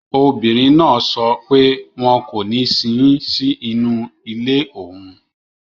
Obìnrin náà sọ pé wọn kò ní sin ín sínú ilé òun